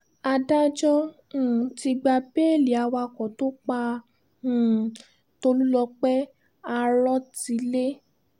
adájọ́ um ti gba béèlì awakọ̀ tó pa um tólúpọ̀ àrọtilé